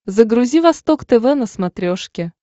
загрузи восток тв на смотрешке